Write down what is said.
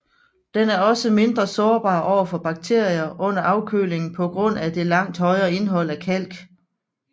Den er også mindre sårbar over for bakterier under afkølingen på grund af det langt højere indhold af kalk